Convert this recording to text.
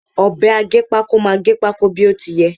Ọ̀bẹ aggépákó máà gẹ pákó bí ó ti yẹ.